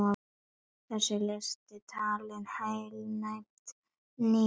Þessi listaverk tali heilnæmt, nýtt og hlýtt mál.